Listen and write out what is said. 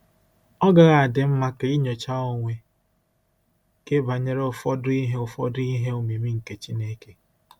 Ọ́ gaghị adị mma ka i nyochaa onwe gị banyere ụfọdụ “ihe ụfọdụ “ihe omimi nke Chineke”?